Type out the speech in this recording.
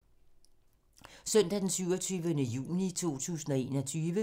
Søndag d. 27. juni 2021